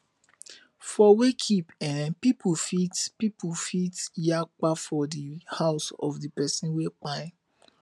for wakekeep eh pipo fit pipo fit yakpa for di house of di pesin wey kpai